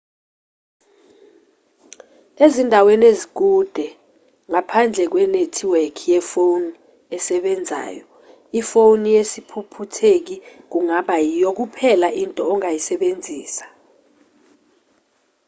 ezindaweni ezikude ngaphandle kwenethiwekhi yefoni esebenzayo ifoni yesiphuphutheki kungaba yiyo kuphela into ongayisebenzisa